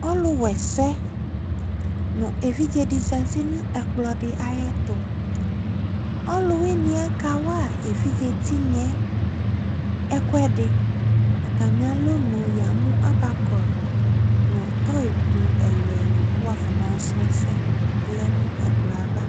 Ɔluwɛsɛ no evidze de zati no ɛkplɔ ayeto? ɔlueeneɛ kawa evidze tinyɛ ɛkuɛdeAtame alɔno yamo abakɔ no tɔyi ko ɛluɛlu ko wafɔna yɔ srɔ asɛ lɛ no ɛkolɔ ava